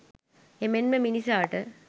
එමෙන්ම මිනිසාට